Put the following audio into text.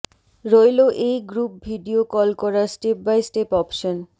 রইল এই group video call করার স্টেপ বাই স্টেপ অপশন